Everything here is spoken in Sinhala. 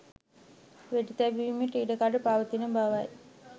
වෙඩි තැබීමට ඉඩ කඩ පවතින බවයි